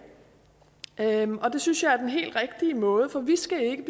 synes jeg er den helt rigtige måde for vi skal ikke